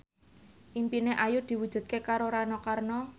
impine Ayu diwujudke karo Rano Karno